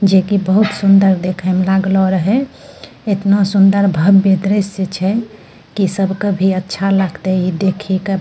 जे कि बहुत सुंदर देखे म लागलो रहे एतना सुन्दर भव्य दृश्य छय कि सब के भी अच्छा लगते इ देखि क।